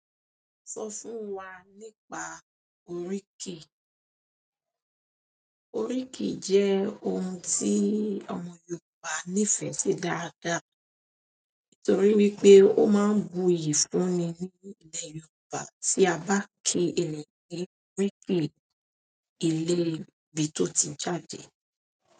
Sọ fún wa nípa oríkì. Oríkì jẹ́ ohun tí àwọn Yorùbá nífẹ̀ẹ́ sí dáadáa, nítorí wípé ó máa ń buyì fún ni ní ilẹ̀ Yorùbá tí a bá ki ènìyàn ni oriki ilé ibi tó ti jáde.